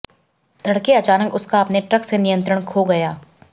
तड़के अचानक उसका अपने ट्रक से नियंत्रण खो गया